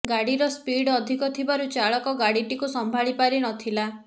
ଗାଡିର ସ୍ପିଡ୍ ଅଧିକ ଥିବାରୁ ଚାଳକ ଗାଡଟିକୁ ସମ୍ଭାଳି ପାରି ନ ଥିଲା